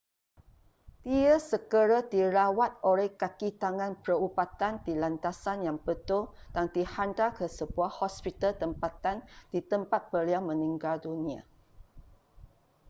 dia segera dirawat oleh kakitangan perubatan di landasan yang betul dan dihantar ke sebuah hospital tempatan di tempat beliau meninggal dunia